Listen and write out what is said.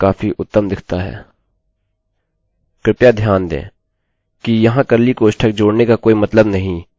कृपया ध्यान दें कि यहाँ कर्ली कोष्ठक जोड़ने का कोई मतलब नहीं यदि आपके पास साधारण if statementsस्टेट्मेन्ट के लिए कोड की केवल एक लाइन है इन जैसे